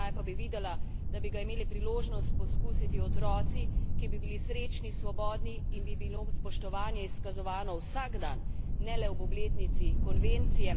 Še raje pa bi videla, da bi ga imeli priložnost poskusiti otroci, ki bi bili srečni, svobodni in bi jim bilo spoštovanje izkazovano vsak dan, ne le ob obletnici konvencije.